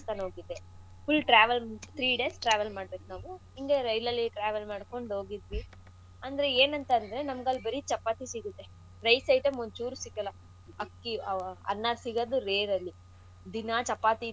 ರಾಜಸ್ಥಾನ್ ಓಗಿದ್ದೆ full travel three days travel ಮಾಡ್ಬೇಕು ನಾವು ಇಂಗೆ rail ಅಲ್ಲಿ travel ಮಾಡ್ಕೊಂಡು ಹೋಗಿದ್ವಿ ಅಂದ್ರೆ ಏನಂತಂದ್ರೆ ಬರೀ ಚಪಾತಿ ಸಿಗುತ್ತೆ rice item ಒಂಚೂರು ಸಿಗಲ್ಲ ಅಕ್ಕಿ ಆಹ್ ಅನ್ನ ಸಿಗದು rare ಅಲ್ಲಿ ದಿನಾ ಚಪಾತಿ ತಿಂದು.